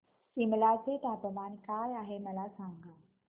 सिमला चे तापमान काय आहे मला सांगा